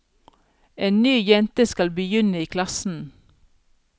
En ny jente skal begynne i klassen.